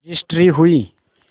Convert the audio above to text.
registry हुई